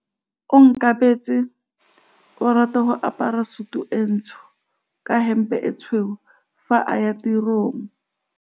Onkabetse o rata go apara sutu e ntsho ka hempe e tshweu fa a ya tirong.